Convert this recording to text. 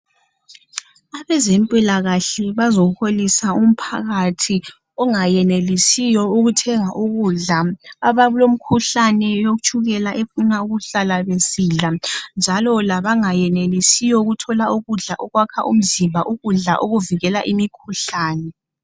Abezempilakahle bazoholisa umphakathi ongayenelisiyo ukuthenga ukudla abalomkhuhlane yotshukela efuna ukuhlala besidla njalo labangayenelisiyo ukuthola ukudla okwakha umzimba ukudla okuvikela imkhuhlane.